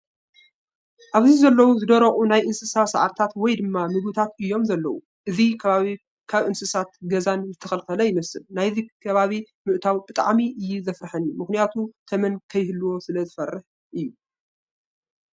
ኣብዚ ዘለው ዝደረቁ ናይ እንስሳት ሳዕሪታትን ወይ ድማ ምግብታት እዮም ዘለው። እዚ ከባቢ ካብ እንስሳት ገዛን ዝተከልከለ ይመስል። ናብዚ ከባቢ ምእታው ብጣዕሚ! እዩ ዘፍረሐኒ ምክንያቱ ተመን ከይህልዎ ስለዝፈርሕ እዩ።